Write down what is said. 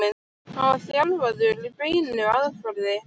hann var þjálfaður í beinu aðferðinni.